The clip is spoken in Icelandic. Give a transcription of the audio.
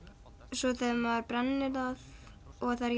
svo þegar maður brennir það og það er